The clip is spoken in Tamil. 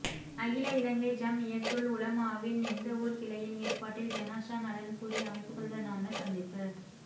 அகில இலங்கை ஜம்இய்யத்துல் உலமாவின் நிந்தவூர் கிளையின் ஏற்பாட்டில் ஜனாஸா நலன்புரி அமைப்புக்களுடனான சந்திப்பு